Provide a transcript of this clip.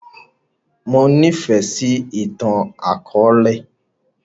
Mo ní fẹ sì ìtàn akọ̀ọ̀lẹ